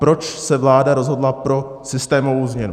Proč se vláda rozhodla pro systémovou změnu?